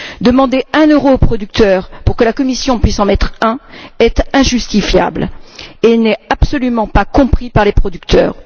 Demander un euro aux producteurs pour que la Commission puisse en mettre un est injustifiable et n'est absolument pas compris par les producteurs.